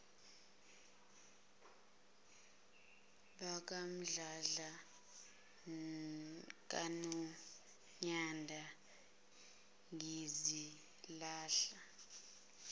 bakamdladla kanonyanda ngizilahla